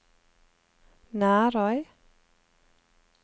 Nærøy